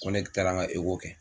Nko ne taara n ka kɛ.